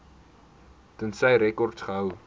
tensy rekords gehou